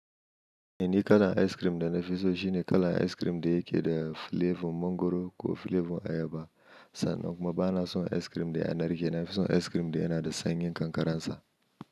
Ni kalar ice cream da na fi so shine kalar ice cream da yake da flavour mangwaro ko flavour ayaba. Sannan kuma ba na son ice cream da ya narke, na fi son ice cream da yana da sanyin kankararsa.